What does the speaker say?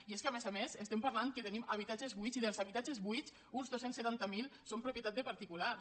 i és que a més a més estem parlant que tenim habitatges buits i dels habitatges buits uns dos cents i setanta miler són propietat de particulars